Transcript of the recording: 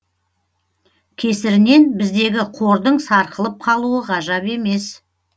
кесірінен біздегі қордың сарқылып қалуы ғажап емес